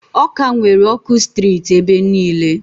Awka nwere ọkụ sitirit ebe niile.